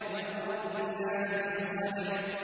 وَالْأَرْضِ ذَاتِ الصَّدْعِ